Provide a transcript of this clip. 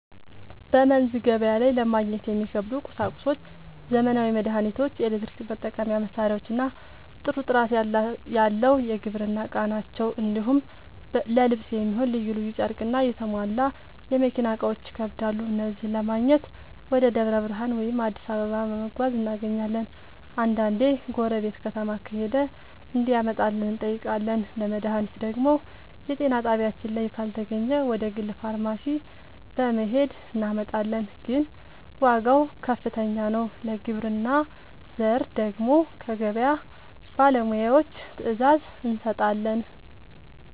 በመንዝ ገበያ ላይ ለማግኘት የሚከብዱ ቁሳቁሶች ዘመናዊ መድሃኒቶች፣ የኤሌክትሪክ መጠቀሚያ መሳሪያዎችና ጥሩ ጥራት ያለው የግብርና ᛢል ናቸው። እንዲሁም ለልብስ የሚሆን ልዩ ልዩ ጨርቅና የተሟላ የመኪና እቃዎች ይከብዳሉ። እነዚህን ለማግኘት ወደ ደብረ ብርሃን ወይም አዲስ አበባ በመጓዝ እናገኛለን፤ አንዳንዴ ጎረቤት ከተማ ከሄደ እንዲያመጣልን እንጠይቃለን። ለመድሃኒት ደግሞ የጤና ጣቢያችን ላይ ካልተገኘ ወደ ግል ፋርማሲ በመሄድ እናመጣለን፤ ግን ዋጋው ከፍተኛ ነው። ለግብርና ዘር ደግሞ ከገበያ ባለሙያዎች ትዕዛዝ እንሰጣለን።